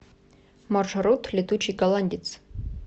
маршрут летучий голландец